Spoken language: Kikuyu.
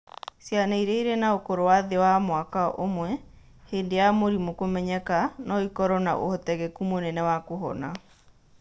Ciana iria irĩ na ũkũrũ wa thĩ ya mwaka ũmwe hĩndĩ ya mũrimũ kũmenyeka, no ĩkorũo na ũhotekeku mũnene wa kũhona.